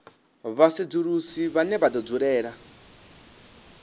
vhasedzulusi vhane vha do dzulela